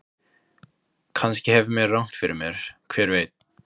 Kannski hef ég rangt fyrir mér, hver veit?